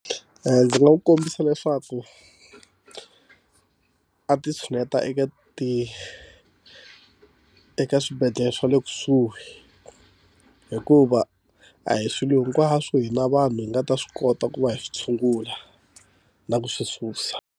Ndzi nga wu kombisa leswaku a ti tshuneta eka ti eka swibedhlele swa le kusuhi hikuva a hi swilo hinkwaswo hi na vanhu hi nga ta swi kota ku va hi swi tshungula na ku swi susa.